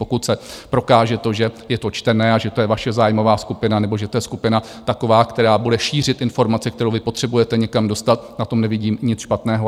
Pokud se prokáže to, že je to čtené a že to je vaše zájmová skupina, nebo že to je skupina taková, která bude šířit informace, které vy potřebujete někam dostat, na tom nevidím nic špatného.